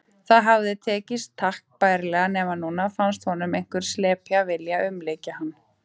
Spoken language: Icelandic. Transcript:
Það hafði tekist takk bærilega, nema núna fannst honum einhver slepja vilja umlykja hann.